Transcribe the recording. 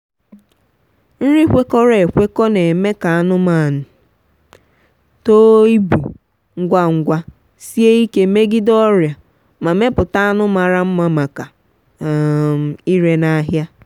nri kwekọrọ ekwekọ na-eme ka anụmanụ too ibu ngwa ngwa sie ike megide ọrịa ma mepụta anụ mara mmamaka um ire n’ahịa.